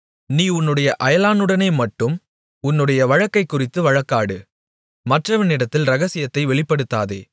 நீ உன்னுடைய அயலானுடனேமட்டும் உன்னுடைய வழக்கைக்குறித்து வழக்காடு மற்றவனிடத்தில் இரகசியத்தை வெளிப்படுத்தாதே